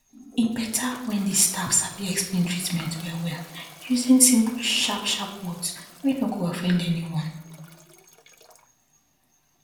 e beta when di staff sabi explain treatment wellwell using simple sharp sharp words wey no go offend anyone